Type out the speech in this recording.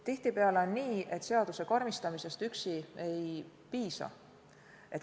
Tihtipeale on nii, et seaduse karmistamisest üksi ei piisa.